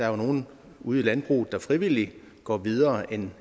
er nogle ude i landbruget der frivilligt går videre end